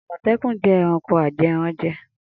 Amotekun jẹ ẹranko ajẹranjẹ.